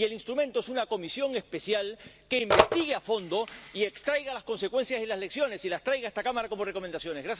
Y el instrumento es una comisión especial que investigue a fondo y extraiga las consecuencias y las lecciones, y las traiga a esta Cámara como recomendaciones.